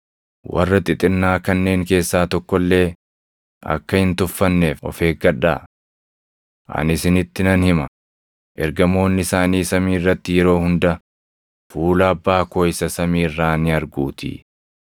“Warra xixinnaa kanneen keessaa tokko illee akka hin tuffanneef of eeggadhaa. Ani isinitti nan hima; ergamoonni isaanii samii irratti yeroo hunda fuula Abbaa koo isa samii irraa ni arguutii. [ 11 Ilmi Namaa isa bade oolchuudhaaf dhufeetii.] + 18:11 Hiikkaawwan tokko tokko dubbii \+xt Luq 19:10\+xt* irra jiru dabalatu.